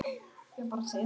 Spurði fólk á förnum vegi.